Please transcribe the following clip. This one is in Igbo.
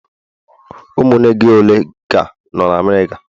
Ụmụnne gị ole ka nọ na America?